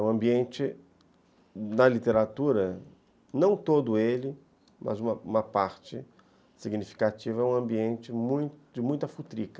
O ambiente da literatura, não todo ele, mas uma parte significativa, é um ambiente de muita futrica.